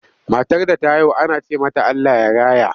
Matar da ta haihu ana ce mata Allah ya raya.